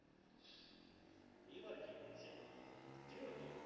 এবার কি হয়েছে যেহেতু